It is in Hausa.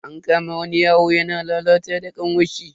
An kama wani yaro yana lalata da kanwarshi.